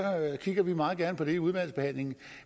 kigger vi meget gerne på det i udvalgsbehandlingen